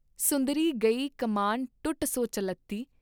ਸੁੰਦਰੀ ਗਈ ਕਮਾਨ ਟੂਟ ਸੋ ਚੱਲਤੀ।